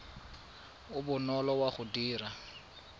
o bonolo wa go dira